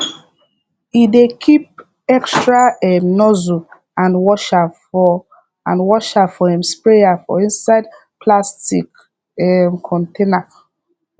he dey keep extra um nozzle and washer for and washer for him sprayer for inside plastic um container